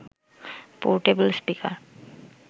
portable speaker